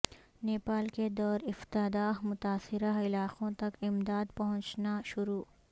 نیپال کے دور افتادہ متاثرہ علاقوں تک امداد پہنچنا شروع